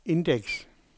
indeks